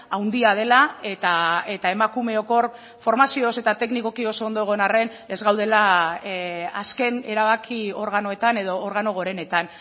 handia dela eta emakumeok hor formazioz eta teknikoki oso ondo egon arren ez gaudela azken erabaki organoetan edo organo gorenetan